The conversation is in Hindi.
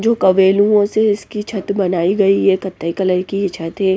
जो क्वेलुयों से इसकी छत बनाई गई है कत्थई कलर की ये छत है।